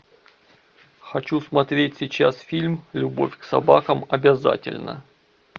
хочу смотреть сейчас фильм любовь к собакам обязательна